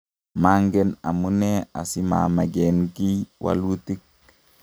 mangen amune asimameken kiy wolutik